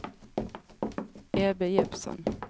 Ebbe Jeppsson